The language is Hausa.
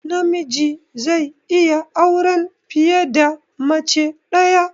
Namiji zai iya auren fiye da mace ɗaya